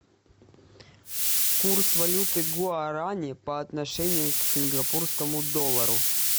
курс валюты гуарани по отношению к сингапурскому доллару